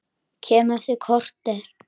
Kem eftir korter!